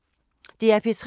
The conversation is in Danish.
DR P3